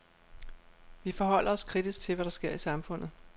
Vi forholder os kritisk til, hvad der sker i samfundet.